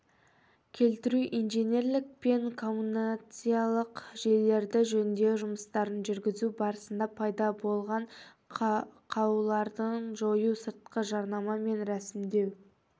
келтіру инженерлік пен коммуникациялық желілерде жөндеу жұмыстарын жүргізу барысында пайда болғанақаулардыжою сыртқы жарнама мен рәсімдеу